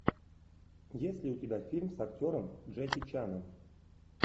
есть ли у тебя фильм с актером джеки чаном